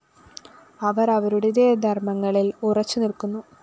അവര്‍ അവരുടേതായ ധര്‍മങ്ങളില്‍ ഉറച്ചുനില്‍ക്കുന്നു